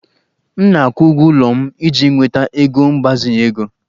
M na-akwụ ụgwọ ụlọ m iji nweta ego mgbazinye ego